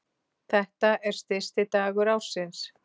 Þetta er stysti dagur ársins